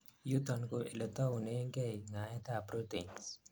yuton ko oletaunengei ngaet ab proteins